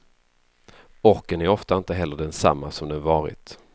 Orken är ofta inte heller densamma som den varit.